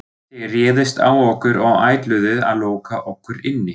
Þið réðust á okkur og ætluðuð að loka okkur inni.